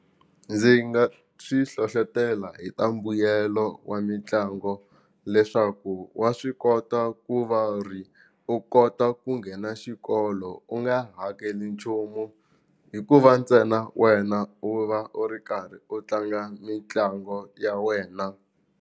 Ndzi nga swi hlohlotelo hi ta mbuyelo wa mitlango leswaku wa swi kota ku va ri u kota ku nghena xikolo u nga hakeli nchumu hikuva ntsena wena u va u ri karhi u tlanga mitlango ya wena.